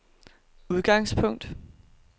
udgangspunkt